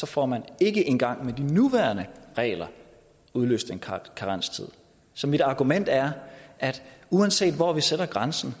får man ikke engang med de nuværende regler udløst en karenstid så mit argument er at uanset hvor vi sætter grænsen